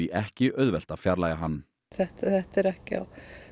ekki auðvelt að fjarlægja hann þetta er ekki á